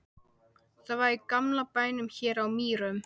Það var í gamla bænum hér á Mýrum.